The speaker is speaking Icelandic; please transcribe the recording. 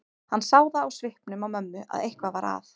Hann sá það á svipnum á mömmu að eitthvað var að.